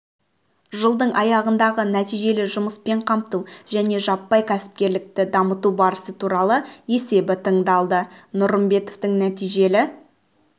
жылдың айындағы нәтижелі жұмыспен қамту және жаппай кәсіпкерлікті дамыту барысы туралы есебі тыңдалды нұрымбетов нәтижелі